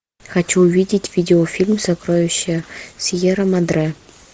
хочу увидеть видеофильм сокровища сьерра мадре